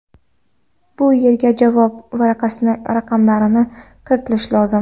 Bu yerga javob varaqasining raqamlarini kiritish lozim.